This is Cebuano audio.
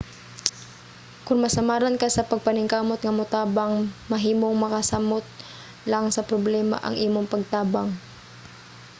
kon masamaran ka sa pagpaningkamot nga motabang mahimong makasamot lang sa problema ang imong pagtabang